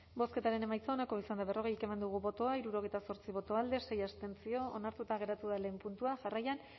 bozketaren emaitza onako izan da berrogei eman dugu bozka hirurogeita zortzi boto alde sei abstentzio onartuta geratu da lehen puntua jarraian